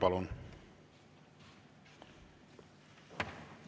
Palun!